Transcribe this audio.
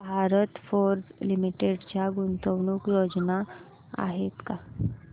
Bharat Forge Limited च्या गुंतवणूक योजना आहेत का